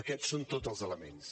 aquests en són tots els elements